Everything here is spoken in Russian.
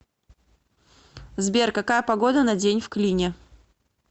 сбер какая погода на день в клине